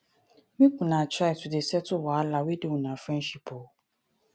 make una try to dey settle wahala wey dey una friendship o.